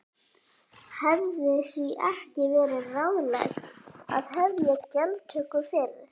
Hefði því ekki verið ráðlegt að hefja gjaldtöku fyrr?